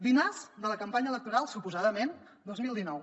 dinars de la campanya electoral suposadament dos mil dinou